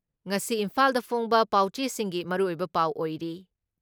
ꯉꯁꯤ ꯏꯝꯐꯥꯜꯗ ꯐꯣꯡꯕ ꯄꯥꯎꯆꯦꯁꯤꯡꯒꯤ ꯃꯔꯨꯑꯣꯏꯕ ꯄꯥꯎ ꯑꯣꯏꯔꯤ ꯫